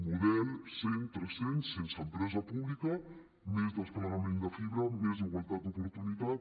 model 100x300 sense empresa pública més desplegament de fibra més igualtat d’oportunitats